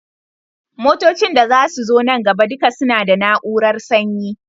Motocin da zasu zo nan gaba duka suna da na urar sanyi